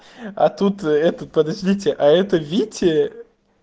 а тут это подождите а это вите